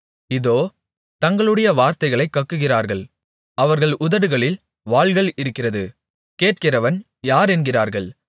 இதோ தங்களுடைய வார்த்தைகளைக் கக்குகிறார்கள் அவர்கள் உதடுகளில் வாள்கள் இருக்கிறது கேட்கிறவன் யார் என்கிறார்கள்